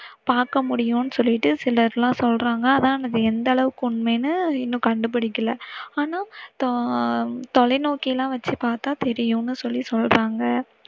பாக்கமுடியும்னு சொல்லிட்டுனு சிலர் எல்லாம் சொல்லறாங்க. ஆனா அது எந்த அளவுக்கு உண்மைன்னு இன்னும் கண்டுபுடிக்கல. ஆன ஆஹ் தொலைநோக்கி எல்லாம் வச்சு பாத்தா தெரியும்னு சொல்லி சொல்றங்க.